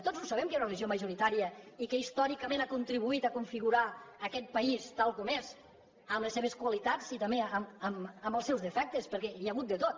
tots ho sabem que hi ha una religió majoritària i que històricament ha contribuït a configurar aquest país tal com és amb les seves qualitats i també amb els seus defectes perquè hi ha hagut de tot